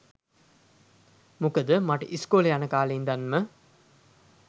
මොකද මට ඉස්කෝලේ යන කාලේ ඉඳන්ම